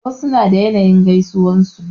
Wasu suna da yanayin gaisuwan su.